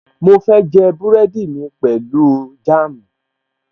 Mo fẹ́ jẹ búrẹ́dì mi pẹ̀lú jáàmù